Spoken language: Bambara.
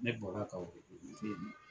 Ne bɔra k'aw